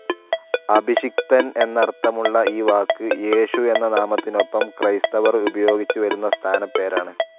അഭിഷിക്തൻ എന്നർത്ഥമുള്ള ഈ വാക്ക് യേശു എന്ന നാമത്തിനൊപ്പം ക്രൈസ്തവർ ഉപയോഗിച്ചു വരുന്ന സ്ഥാനപ്പേരാണ്.